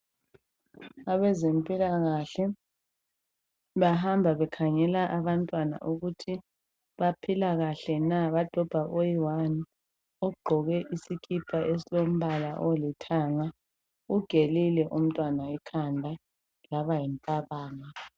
abezempilakahle bahamba bekhangela abantwana ukuthi baphila kahle na bsadobha oyi one ogqoke isikipa esilombala oyilithanga ugelile umntwana ikhanda laba yimpabanga